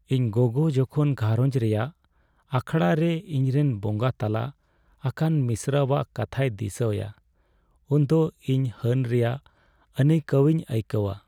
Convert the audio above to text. ᱤᱧ ᱜᱚᱜᱚ ᱡᱚᱠᱷᱚᱱ ᱜᱷᱟᱨᱚᱸᱡᱽ ᱨᱮᱭᱟᱜ ᱟᱠᱷᱲᱟᱨᱮ ᱤᱧᱨᱮᱱ ᱵᱚᱸᱜᱟ ᱛᱟᱞᱟ ᱟᱠᱟᱱ ᱢᱤᱥᱨᱟᱣᱟᱜ ᱠᱟᱛᱷᱟᱭ ᱫᱤᱥᱟᱹᱭᱟ ᱩᱱᱫᱚ ᱤᱧ ᱦᱟᱹᱱ ᱨᱮᱭᱟᱜ ᱟᱹᱱᱟᱹᱭᱠᱟᱹᱣᱤᱧ ᱟᱹᱭᱠᱟᱹᱣᱟ ᱾